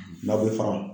Na bɛ fara